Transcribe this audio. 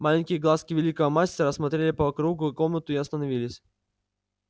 маленькие глазки великого мастера осмотрели по кругу комнату и остановились